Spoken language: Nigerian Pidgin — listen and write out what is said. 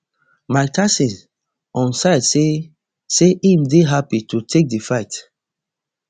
mike tyson on side say say im dey happy to take di fight